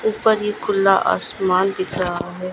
ऊपर ही खुल्ला आसमान दिख रहा है।